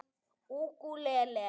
Ég var viss um það.